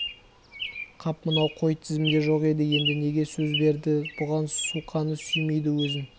қап мынау қой тізімде жоқ еді неге сөз берді бұған суқаны сүймейді өзін